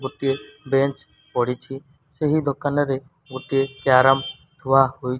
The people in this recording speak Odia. ଗୋଟିଏ ବେଞ୍ଚ୍ ପଡ଼ିଛି ସେହି ଦୋକାନରେ ଗୋଟିଏ କ୍ୟାରମ୍ ଥୁଆ ହୋଇ --